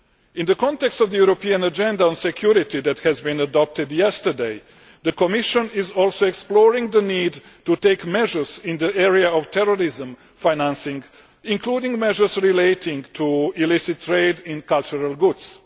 In the context of the European Agenda on Security that was adopted yesterday, the Commission is also exploring the need to take measures in the area of terrorism financing, including measures relating to illicit trade in cultural goods.